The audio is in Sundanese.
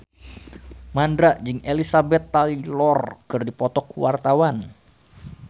Mandra jeung Elizabeth Taylor keur dipoto ku wartawan